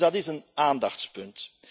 Dus dat is een aandachtspunt.